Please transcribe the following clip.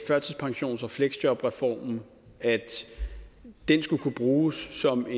førtidspensions og fleksjobreformen at den skulle kunne bruges som